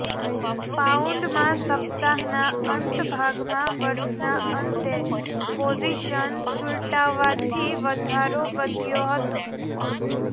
પાઉન્ડમાં સપ્તાહના અંત ભાગમાં વર્ષના અંતે પોઝિશન સુલટાવાથી વધારો વધ્યો હતો